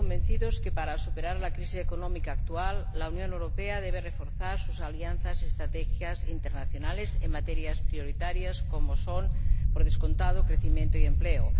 todos convencidos de que, para superar la crisis económica actual, la Unión Europea debe reforzar sus alianzas y estrategias internacionales en materias prioritarias, como son, por descontado, el crecimiento y el empleo.